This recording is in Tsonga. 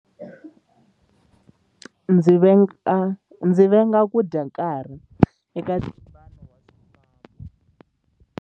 Ndzi venga ku dya nkarhi eka ntlimbano wa swifambo.